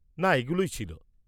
-না এগুলোই ছিল।